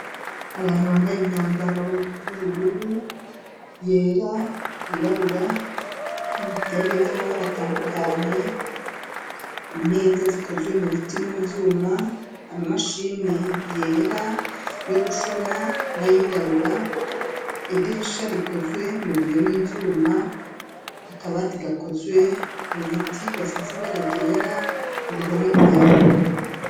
Abantu bambaye imyambaro y'ubururu ,yera ,yirabura, ibitenge vy'amabara atandukanye, imeza zikozwe mu biti no mu vyuma ,ama mashini yera yo gushona ,n'ayirabura ,idirisha rikozwe mu biyo ,n'ivyuma akabati gakozwe mu biti gasize ibara ryera uruhome rwera.